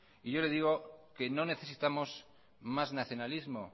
y yo le digo que no necesitamos más nacionalismo